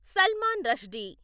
Salman Rushdie